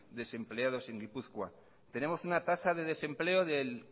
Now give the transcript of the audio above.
desempleados en gipuzkoa tenemos una tasa de desempleo del